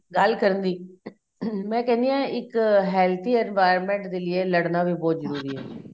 ਗੱਲ ਕਰਨੀ ਮੈਂ ਕਹਿਣੀ ਆ ਇੱਕ healthy environment ਲੀਏ ਲੜਣਾ ਵੀ ਬਹੁਤ ਜਰੂਰੀ ਏ